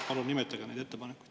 Palun nimetage need ettepanekud.